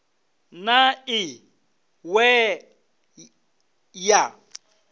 na i ṅ we ya